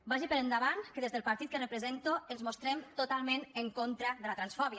vagi per endavant que des del partit que represento ens mostrem totalment en contra de la transfòbia